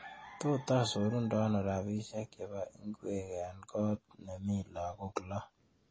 Tota asarundano rabishiek chebo ing'wek eng' koot nemi lagok loo